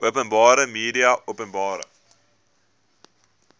openbare media openbare